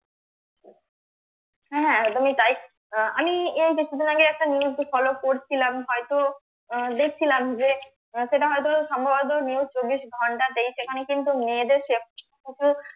হ্যাঁ হ্যাঁ একদমই তাই আহ আমি এই কিছুদিন আগে একটা news follow করছিলাম হয়তো আহ দেখছিলাম যে আহ সেটা হয়তো সম্ভবত news চব্বিশ ঘন্টা তে সেখানে কিন্তু মেয়েদের safety